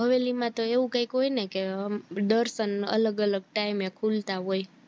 હવેલી માં તો એવું કાક હોઈ ને કે અમ દર્શન અલગ અલગ time એ ખુલતા હોય